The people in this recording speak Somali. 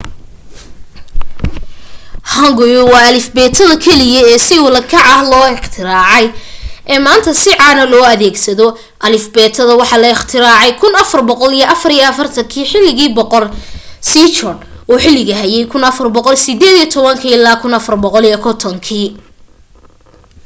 hanguel waa alifbeetada keliya ee si ula kac ah loo iqtiraacay ee maanta si caana loo adeegsado. alifbeetada waxa la ikhtiraacay 1444 xilligii boqor sejong uu xilka hayay 1418-1450